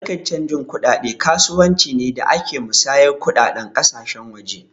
Harkan canji kuɗaɗe kasuwanci ne da ke musayar kuɗaɗen ƙasashen waje